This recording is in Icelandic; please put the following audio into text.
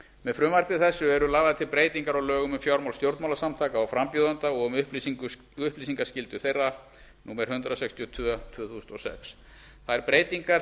með frumvarpi þessu eru lagðar til breytingar á lögum um fjármál stjórnmálasamtaka og frambjóðenda og um upplýsingaskyldu þeirra númer hundrað sextíu og tvö tvö þúsund og sex þær breytingar